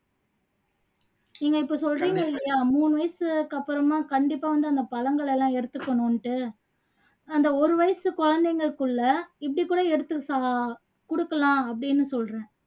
நீங்க இப்போ சொல்றீங்க இல்லையா மூணு வயசுக்கு அப்பறமா கண்டிப்பா வந்து அந்த பழங்களை எல்லாம் எடுத்துக்கணும்னுட்டு அந்த ஒரு வயசு குழந்தைங்களுக்குள்ள இப்படி கூட எடுத்துக்க சொல்லலாம் கொடுக்கலாம் அப்படின்னு சொல்றேன்